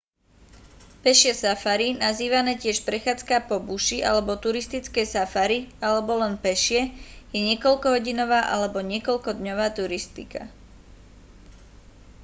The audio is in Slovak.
pešie safari nazývané tiež prechádzka po buši alebo turistické safari alebo len pešie je niekoľkohodinová alebo niekoľkodňová turistka